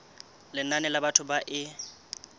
lenane la batho ba e